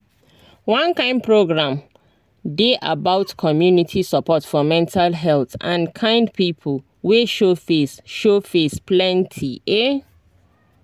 one kind program dey about community support for mental health and kind people wey show face show face plenty ehh